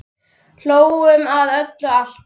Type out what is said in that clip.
Hlógum að öllu, alltaf.